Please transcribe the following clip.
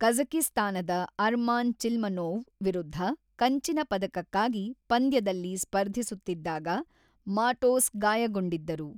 ಕಝಕಿಸ್ತಾನದ Arman Chilmanov ವಿರುದ್ಧ ಕಂಚಿನ ಪದಕಕ್ಕಾಗಿ ಪಂದ್ಯದಲ್ಲಿ ಸ್ಪರ್ಧಿಸುತ್ತಿದ್ದಾಗ ಮಾಟೋಸ್ ಗಾಯಗೊಂಡಿದ್ದರು.